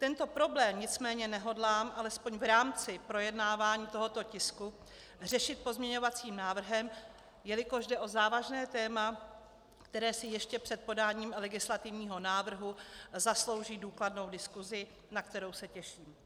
Tento problém nicméně nehodlám alespoň v rámci projednávání tohoto tisku řešit pozměňovacím návrhem, jelikož jde o závažné téma, které si ještě před podáním legislativního návrhu zaslouží důkladnou diskusi, na kterou se těším.